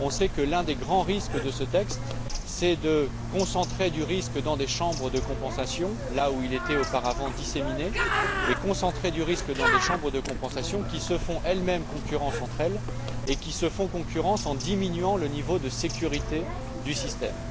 On sait que l'un des grands dangers de ce texte est de concentrer du risque dans des chambres de compensation là où il était auparavant disséminé, mais de concentrer du risque dans des chambres de compensation qui se font elles mêmes concurrence, entre elles, et qui se font concurrence en diminuant le niveau de sécurité du système.